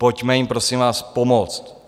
Pojďme jim prosím vás pomoct.